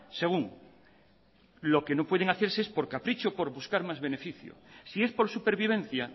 según lo que no pueden hacerse es por capricho por buscar más beneficio si es por supervivencia